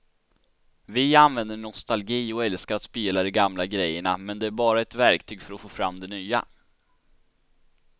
Vi använder nostalgi och älskar att spela de gamla grejerna men det är bara ett verktyg för att få fram det nya.